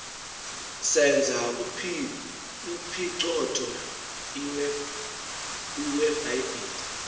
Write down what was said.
senza uphicotho iwebhayibhile